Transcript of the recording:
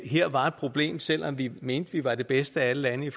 her var et problem selv om vi mente vi var det bedste af alle lande i